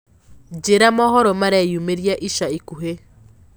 njĩĩra mohoro mareyũmiria ĩca ĩkũhĩ